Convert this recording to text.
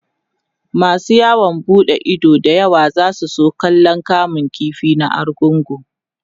masu yawon buɗe Ido da yawa zasu zo kallan kamun ƙifi na argungu